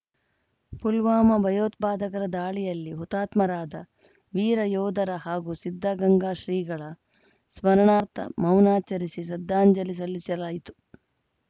ಪುಲ್ವಾಮಾ ಭಯೋತ್ಪಾಧಕರ ದಾಳಿಯಲ್ಲಿ ಹುತಾತ್ಮರಾದ ವೀರ ಯೋಧರ ಹಾಗೂ ಸಿದ್ದಗಂಗಾ ಶ್ರೀಗಳ ಸ್ಮರಣಾರ್ಥ ಮೌನಾಚರಿಸಿ ಶ್ರದ್ಧಾಂಜಲಿ ಸಲ್ಲಿಸಲಾಯಿತು